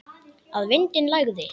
Að vindinn lægði.